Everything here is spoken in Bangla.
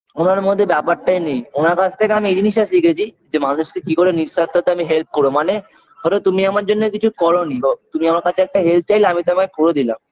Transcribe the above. ওনার মধ্যে ব্যাপারটাই নেই ওনার কাছ থেকে আমি এই জিনিসটা শিখেছি যে মানুষকে কিকরে নিঃস্বার্থতা আমি help করব মানে ধরো তুমি আমার জন্য কিছু করোনি গো তুমি আমার কাছে help চাইলে আমি তোমায় করে দিলাম